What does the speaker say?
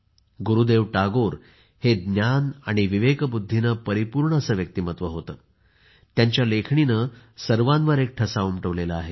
गुरुदेव टागोर हे ज्ञान आणि विवेकबुद्धीने परिपूर्ण व्यक्तिमत्व होते ज्यांच्या लेखणीने सर्वांवर एक ठसा उमटविला आहे